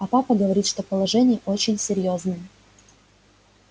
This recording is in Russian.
а папа говорит что положение очень серьёзное